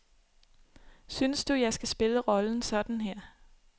Synes du, jeg skal spille rollen sådan her.